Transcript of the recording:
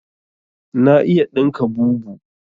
Na iya ɗinka bubu